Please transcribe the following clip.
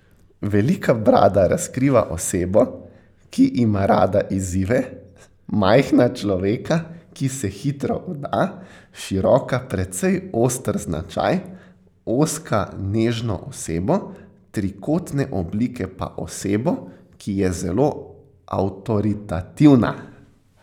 Velika brada razkriva osebo, ki ima rada izzive, majhna človeka, ki se hitro vda, široka precej oster značaj, ozka nežno osebo, trikotne oblike pa osebo, ki je zelo avtoritativna.